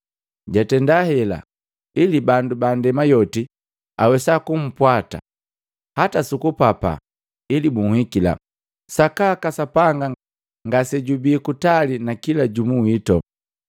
“Jatenda hela, ili bandu ba ndema yoti awesa kumpwata hata suku papaa ili buhikila. Sakaka Sapanga ngasejubii kutali na kila jumu wito.